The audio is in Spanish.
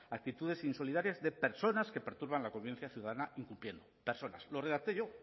actitudes insolidarias de personas que perturban la confianza ciudadana incumpliendo personas lo redacté yo